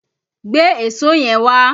Gbé èso yẹn wá!